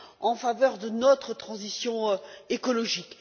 en faveur de notre transition écologique.